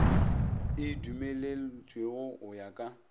e dumelwetšwego go ya ka